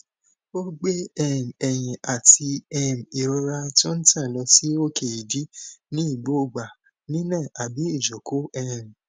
ogbe um eyin ati um irora to n tan lo si oke idi ni gbogba nina abi ijoko um